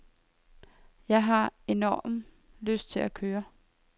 Jeg har enorm lyst til at køre.